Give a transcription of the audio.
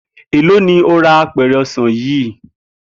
Èló ni o ra apè̩rè̩ o̩sàn yìí?